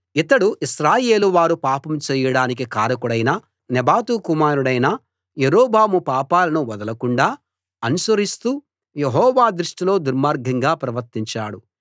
ఇతడు ఇశ్రాయేలు వారు పాపం చేయడానికి కారకుడైన నెబాతు కుమారుడు యరొబాము పాపాలను వదలకుండా అనుసరిస్తూ యెహోవా దృష్టిలో దుర్మార్గంగా ప్రవర్తించాడు